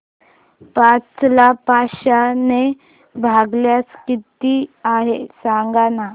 पाच ला पाचशे ने भागल्यास किती आहे सांगना